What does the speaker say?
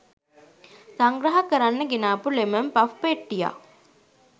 සංග්‍රහ කරන්න ගෙනාපු ලෙමන් පෆ් පෙට්ටියක්